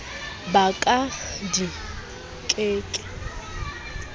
ba ka di ke ke